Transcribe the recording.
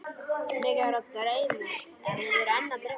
Mig er enn að dreyma.